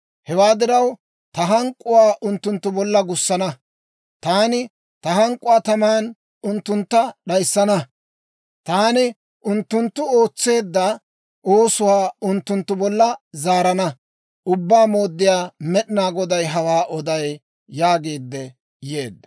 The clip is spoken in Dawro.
Hewaa diraw, ta hank'k'uwaa unttunttu bolla gussana; taani ta hank'k'uwaa taman unttuntta d'ayissana; taani unttunttu ootseedda oosuwaa unttunttu bolla zaarana. Ubbaa Mooddiyaa Med'inaa Goday hawaa oday» yaagiidde yeedda.